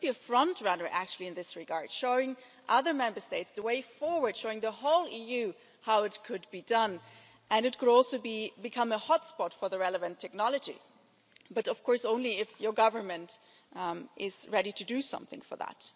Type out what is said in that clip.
It could be a frontrunner in this regard, showing other Member States the way forward, showing the whole EU how it could be done, and it could also become a hotspot for the relevant technology but only if your government is ready to do something for that.